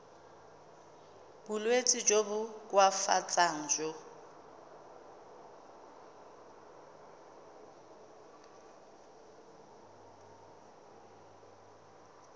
bolwetsi jo bo koafatsang jo